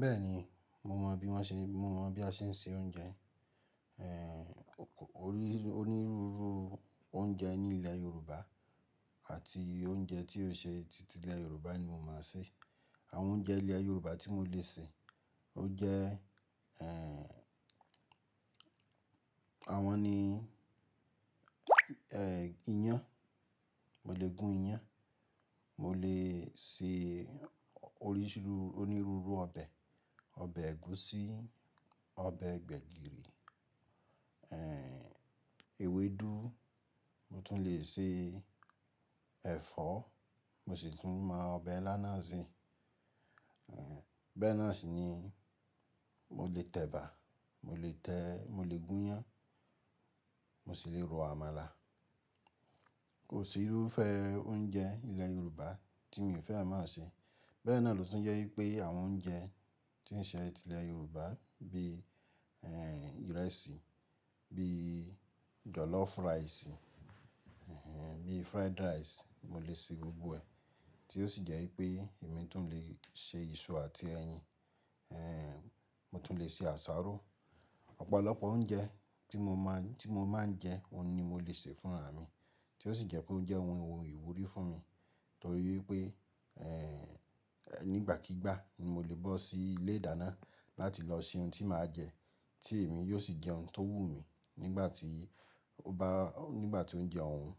Bẹ́ẹ̀ni, mo mọ̀ bí wọ́n ṣe, mo mọ̀ bí a ṣe ń se oúnjẹ, eh, onírúurú oúnjẹ ní ilẹ̀ Yorùbá àti oúnjẹ tí ó ṣe ti ilẹ̀ Yorùbá ni mo mọ ń ṣe. Àwọn oúnjẹ ilẹ̀ Yorùbá tí mo lè ṣe, ó jẹ́, eh, àwọn ni, ẹ, iyán, mo lè gún iyán, mo lè se onírúurú ọbẹ̀, ọbẹ̀ ẹ̀gúsí, ọbẹ̀ gbẹ̀gìrì, ẹ, ewédú, mo tún lè se ẹ̀fọ́, mo sì tún mọ ọbẹ̀ ìlá náà ṣe. Ẹ̀, bẹ́ẹ̀ náà sì ni mo lè tẹ̀bà, mo lè tẹ́, mo lè gún iyán, mo sì lè ro àmàlà. Kò sí irúfẹ́ oúnjẹ ilẹ̀ Yorùbá tí mi ò fẹ́ máa ṣe. Bẹ́ẹ̀ náà ló tún jẹ́ wípé àwọn oúnjẹ tí ń ṣe ti ilẹ̀ Yorùbá bí, ẹẹ, ìrẹsì, bí jọ̀lọ́fù ráìsì, ẹẹ, bí fried rice, mo lè se gbogbo ẹ̀. Tí ó sì jẹ́ wípé èmi tún lè se iṣu àti ẹyin, ẹẹ, mo tún lè se àsáró. Ọpọlọpọ òùnjẹ tìì mò màà ùn jẹ òùn nì mò ĺèè sèè fùn àrà mìì tí ó sì jẹ́ pé ó jẹ́ ohun ìwúrí fún mi torí wípé, ẹẹ, nígbàkígbà ni mo lè bọ́ sí ilé ìdáná láti lọ se ohun tí màá jẹ, tí èmi yóò sì jẹ́ ohun tó wù mí nígbà tí ó bá, nígbà tí ó jẹ́ ọ̀hún.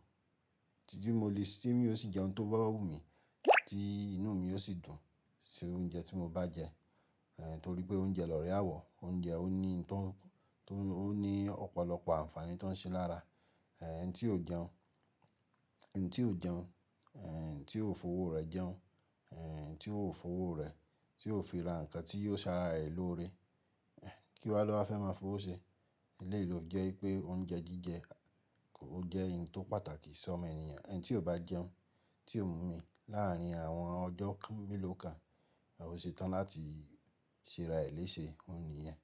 Ti mò lè, tì mì òò śi jẹ òhùn tìì ò bàà wùnmi, tì ìnù mii ò śì dùn śi òùnjẹ tì mò bà jẹ. Eh, torí pé oúnjẹ lórẹ àwọ̀, oúnjẹ ó ní ìtọ́n, ó ní ọ̀pọ̀lọpọ̀ àǹfààní tó ń ṣe lára. Eh, ẹni tí ò jẹun, ẹni tí ò jẹun, eh, ẹni tí ò fowó rẹ̀ jẹun, eh, ẹni tí ò fowó rẹ̀, tí ò fi ra nǹkan tí yóò sè àrà ẹ lóòrè, kí wá lò wá fẹ́ máa fowó ṣe? Éleyi ló fi jẹ́ wípé oúnjẹ jíjẹ ò jẹ́ òùn tó pàtàkì sọ́mọ ènìyàn. Ènì tì òò bà jèùn, tì òò mù òmì, lààrìn àwọn ọjọ mèlò kàn òśètàn làti ṣè rà è lè ṣè, òùn nìyẹn.